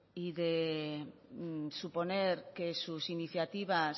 y de suponer que sus iniciativas